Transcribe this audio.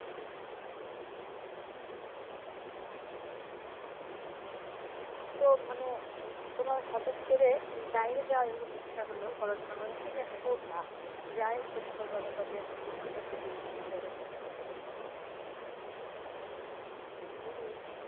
তো মানে তোমার হঠাৎ করে উম বাহিরে যাওয়ার এরকম ইচ্ছা হলো পড়াশোনা করার ঠিক আছে করবা, ঔযে আইয়েলটিএস করবা তারপর দেন ওখানকার সিটিজেনশিপ হয়ে ওখানে থাইকা যাবা উম